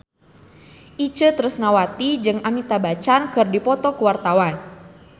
Itje Tresnawati jeung Amitabh Bachchan keur dipoto ku wartawan